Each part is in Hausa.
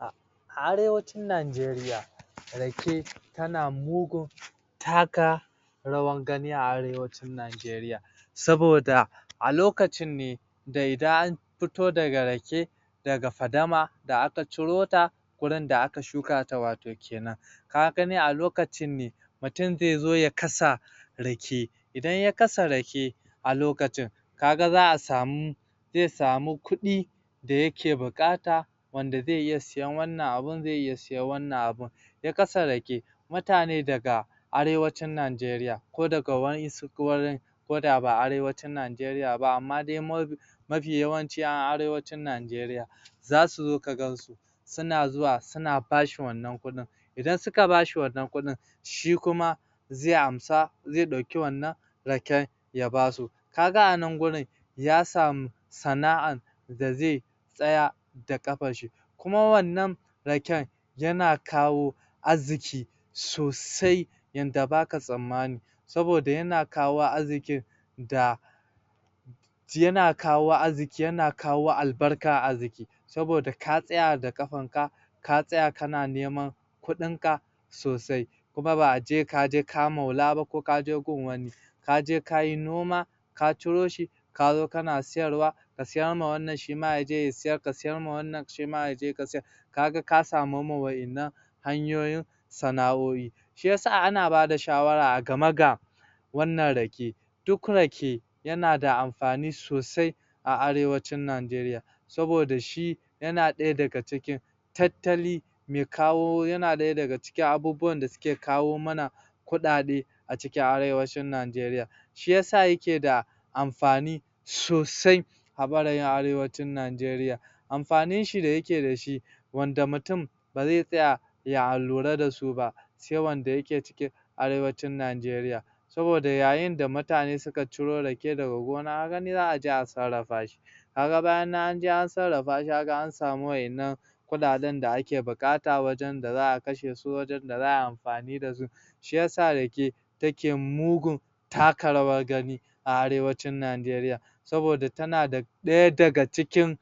A a Arewacin Najeriya rake tana mugun taka rawar gani a Arewacin Najeriya saboda a lokacin ne da idan an fito da rake daga Fadama da aka ciro ta gurin da aka shuka ta wato kenan ka gani a lokacin ne mutum zai zo ya kasa rake ya kasa rake a lokacin ka ga za a samu zai samu kudi da yake buƙata wanda zai iya sayan wannan abin zai iya sayan wannan abin ya kasa rake mutane daga Arewacin Najeriya ko daga wadansu wurin ko da ba a Arewacin Najeriya ba amma dai ma... mafi yawanci a Arewacin Najeriya za su zo ka gan su suna zuwa suna ba shi wannan kuɗin idan suka ba shi wannan kudin shi kuma zai amsa zai dauki wannan raken ya ba su ka ga a nan gurin ya samu sana'ar da zai tsaya da ƙafar shi kuma wannan raken yana kawo arziƙi sosai yadda ba ka tsammani saboda yana kawo arziƙi da yana kawo arziƙi yana kawaoalbarkar arziƙi saboda ka tsaya da ƙafarka ka tsaya kana neman kudinka sosai kuma ba ace ka je ka maula ba ko ka je gun wani ka je ka yi noma ka ciro shi ka zo kana sayarwa ka siyarwa wannan shi ma ya je ya sayar ka siyarwa wannan shi ma ya je ya siyar ka ga ka samarwa wadannan hanyoyin sana'o'i shi yasa ana bada shawara a game ga wannan rake duk rake yana da amfani sosai a Arwacin Najeriya. Saboda shi yana daya daga ciki tattali mai kawo yana daya daga cikin abubuwan da suke kawo mana kudade a cikin Arewacin Najeriya shi yasa yake da amfani sosai a ɓarayin Arewacin Najeriya amfanin shi da yakew da shi wanda murtum ba zai tsaya ya lura da su ba sai wanda yake cikin Arewacin Najeriya saboda yayin da mutane suka ciro rake daga gona ka gani za a je a sarrarfa shi ka ga bayan an je an sarrrafa shi ka ga an samu waƴannan kuɗaɗen da ake buƙata wajen da za a kashe su, wajen da za a yi amfani da su shi yasa rake take mugun taka rawar gani a Arewacin Najeriya saboda tana da ɗaya daga cikin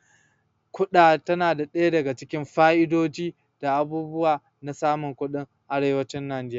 kuda... tana daya daga cikin fa'idoji da abubuwa na samun kudi a Arewacin Najeriya.